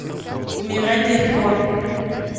умирать легко